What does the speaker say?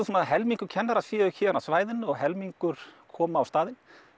svona helmingur kennara séu héðan af svæðinu og helmingur komi á staðinn